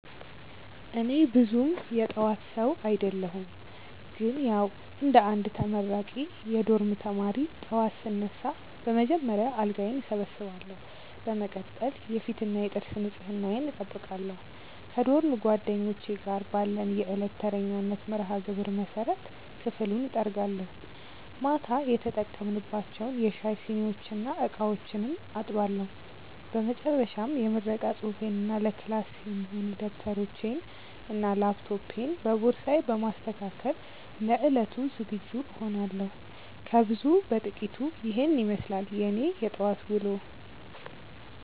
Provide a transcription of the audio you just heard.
እኔ ብዙም የጠዋት ሰው አደለሁም ግን ያዉ እንደ አንድ ተመራቂ የዶርም ተማሪ፣ ጠዋት ስነሳ በመጀመሪያ አልጋዬን እሰበስባለሁ። በመቀጠል የፊትና የጥርስ ንጽህናዬን እጠብቃለሁ። ከዶርም ጓደኞቼ ጋር ባለን የዕለት ተረኛነት መርሃግብር መሰረት ክፍሉን እጠርጋለሁ፤ ማታ የተጠቀምንባቸውን የሻይ ሲኒዎችና ዕቃዎችም አጥባለሁ። በመጨረሻም የምረቃ ፅሁፌንና ለክላስ የሚሆኑ ደብተሮቼንና ላፕቶፔን በቦርሳዬ በማስተካከል ለዕለቱ ዝግጁ እሆናለሁ። ከብዙ በጥቂቱ ኢሄን ይመስላል የኔ የጠዋት ዉሎ።